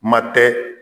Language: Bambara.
Kuma tɛ